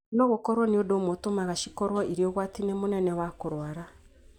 no gũkorũo nĩ ũndũ ũmwe ũtũmaga cikorũo irĩ ũgwati-inĩ mũnene wa kũrũara.